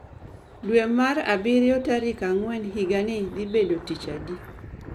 Dwe mar abirio tarik ang'wen higani dhi bedo tich adi